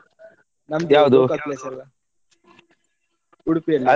ನಮ್ದು local place ಎಲ್ಲ Udupi ಅಲ್ಲಿ.